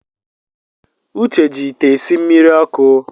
Uche ji ite esi mmiri ọkụ